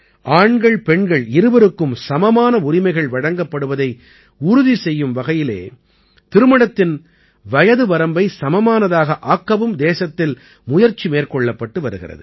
ஆண்கள்பெண்கள் இருவருக்கும் சமமான உரிமைகள் வழங்கப்படுவதை உறுதி செய்யும் வகையிலே திருமணத்தின் வயது வரம்பை சமமானதாக ஆக்கவும் தேசத்தில் முயற்சி மேற்கொள்ளப்பட்டு வருகிறது